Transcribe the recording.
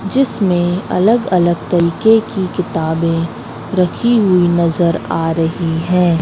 जिसमें अलग अलग तरीके की किताबें रखीं हुई नजर आ रहीं हैं।